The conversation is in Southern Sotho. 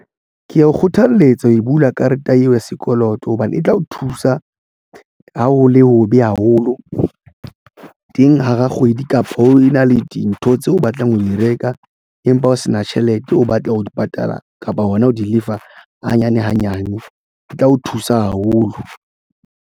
Ke ya o kgothaletsa ho bula karete eo ya sekoloto hobane e tla o thusa. Ha ho le hobe haholo teng hara kgwedi kapa o na le dintho tseo o batlang ho di reka empa o se na tjhelete o batla ho di patala kapa hona ho di lefa hanyane hanyane e tla o thusa haholo.